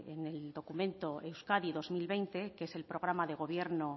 bueno en el documento euskadi dos mil veinte que es el programa de gobierno